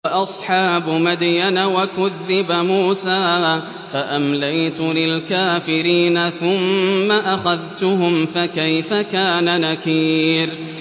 وَأَصْحَابُ مَدْيَنَ ۖ وَكُذِّبَ مُوسَىٰ فَأَمْلَيْتُ لِلْكَافِرِينَ ثُمَّ أَخَذْتُهُمْ ۖ فَكَيْفَ كَانَ نَكِيرِ